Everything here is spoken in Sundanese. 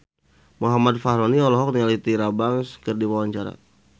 Muhammad Fachroni olohok ningali Tyra Banks keur diwawancara